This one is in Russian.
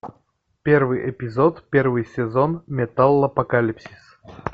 первый эпизод первый сезон металлопокалипсис